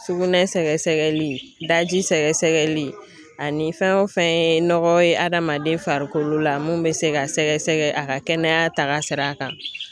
Sugunɛ sɛgɛsɛgɛli daji sɛgɛsɛgɛli ani fɛn o fɛn ye nɔgɔ ye hadamaden farikolo la mun bɛ se ka sɛgɛsɛgɛ a ka kɛnɛya tagasira kan.